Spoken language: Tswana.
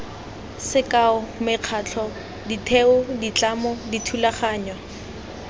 sekao mekgatlho ditheo ditlamo dithulaganyo